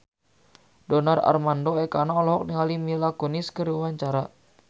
Donar Armando Ekana olohok ningali Mila Kunis keur diwawancara